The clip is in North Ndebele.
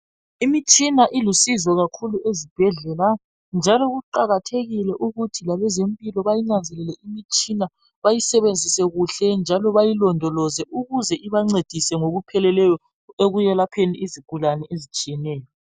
Imitshina ilusizo kakhulu ezibhedlela njalo kuqakathekile ukuthi labezempilo bayinanzelele imitshina bayisebenzise kuhle njalo bayilondoloze ukuze ibancedise ngokupheleleyo ekuyelapheni izigulane ezitshiyeneyo.